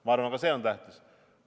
Ma arvan, ka see on tähtis.